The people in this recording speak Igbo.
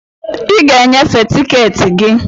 I ga e nyefee tiketi gị.